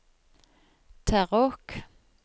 Terråk